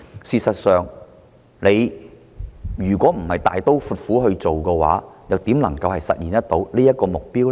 事實上，如政府不是大刀闊斧去做的話，又怎能實現這個目標？